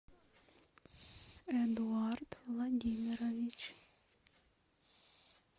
эдуард владимирович